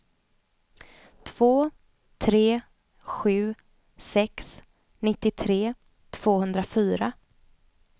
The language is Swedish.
två tre sju sex nittiotre tvåhundrafyra